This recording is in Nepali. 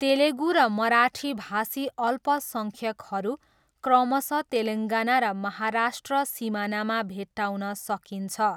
तेलुगु र मराठीभाषी अल्पसङ्ख्यकहरू क्रमशः तेलङ्गाना र महाराष्ट्र सिमानामा भेट्टाउन सकिन्छ।